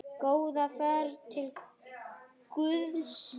Góða ferð til Guðs.